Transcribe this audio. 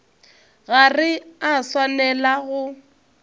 ga re a swanela go